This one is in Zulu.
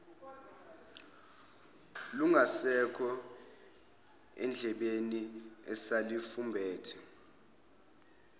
lungasekho endlebeni eselufumbethe